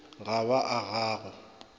ga ba a ga o